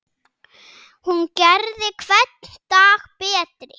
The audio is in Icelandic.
Hún gerði hvern dag betri.